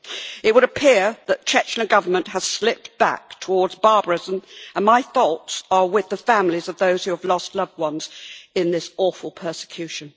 It would appear that the Chechnya government has slipped back towards barbarism, and my thoughts are with the families of those who have lost loved ones in this awful persecution.